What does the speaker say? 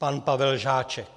Pan Pavel Žáček.